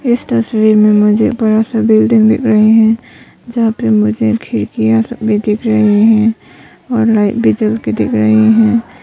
इस तस्वीर में मुझे बड़ा सा बिल्डिंग दिख रही है यहां पे मुझे खिड़कियां सब भी दिख रहे हैं । और लाइट भी जलती दिख रही है।